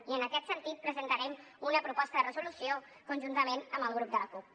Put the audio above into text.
i en aquest sentit presentarem una proposta de resolució conjuntament amb el grup de la cup